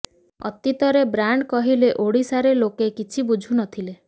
ଅତୀତରେ ବ୍ରାଣ୍ଡ୍ କହିଲେ ଓଡ଼ିଶାରେ ଲୋକେ କିଛି ବୁଝୁ ନଥିଲେ